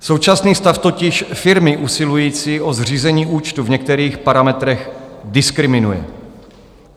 Současný stav totiž firmy usilující o zřízení účtu v některých parametrech diskriminuje.